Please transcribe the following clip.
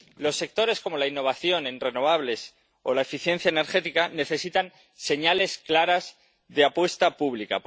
Los sectores como la innovación en renovables o la eficiencia energética necesitan señales claras de apuesta pública